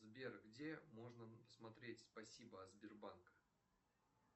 сбер где можно посмотреть спасибо от сбербанка